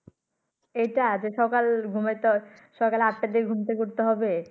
এই টা সকাল ঘুমেতল সকাল আটা টা দিক ঘুমে থেকে উঠতে হবে